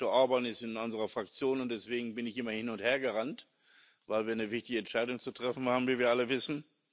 Viktor Orbán ist in unserer Fraktion, und deswegen bin ich immer hin und her gerannt, weil wir eine wichtige Entscheidung zu treffen haben, wie wir alle wissen.